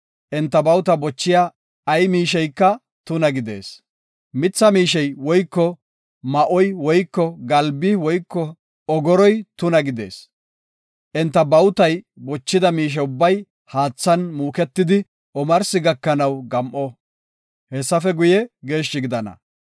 Enta bawuta bochiya ay miisheyka tuna gidees; mitha miishey woyko ma7oy woyko galbi woyko ogoroy tuna gidees. Enta bawutay bochida miishe ubbay haathan muuketidi omarsi gakanaw gam7o; hessafe guye geeshshi gidana.